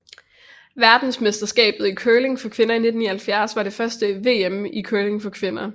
Verdensmesterskabet i curling for kvinder 1979 var det første VM i curling for kvinder